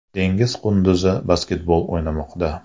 Dengiz qunduzi basketbol o‘ynamoqda .